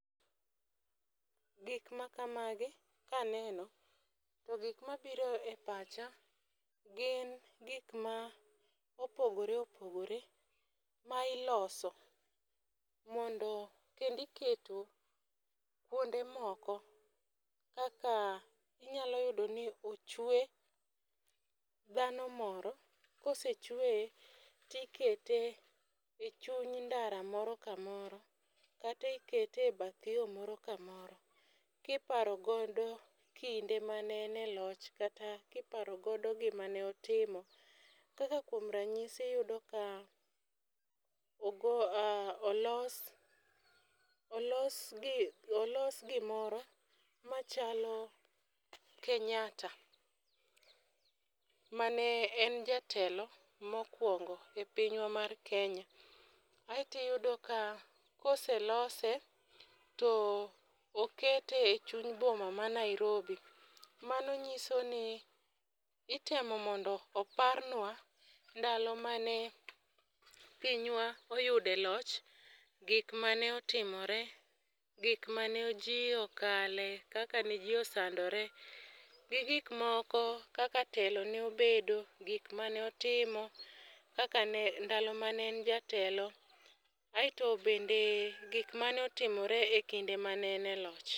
Gik ma kamagi kaneno to gik mabiro e pacha gin gik ma opogore opogore ma iloso mondo kendi keto kuonde moko. Kaka inyalo yudo ni ochwe dhano moro kosechweye tikete e chuny ndara moro kamoro katikete bath yoo moro kamoro kiparo godo kinde mane en e loch kata kiparo godo gima ne otimo. Kaka kuom ranyisi iyudo ka ogo olos olos gi olos gimoro machalo Kenyatta mane en jatelo mokwongo e pinywa mar Kenya. Aeto iyudo ka koselose to okete e chuny boma ma Nairobi. Mano nyiso ni itemo mondo oparnwa ndalo mane Pinywa oyude loch gik mane otimore, gik mane jii okale kaka ne jii osandore gi gik moko kaka ne telo ne obedo gik mane otimo ndalo mane en jatelo aeto bende gik mane otimore e kinde mane en e loch.